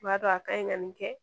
U b'a dɔn a ka ɲi ka nin kɛ